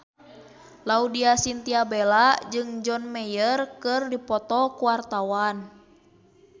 Laudya Chintya Bella jeung John Mayer keur dipoto ku wartawan